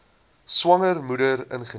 swanger moeder ingeneem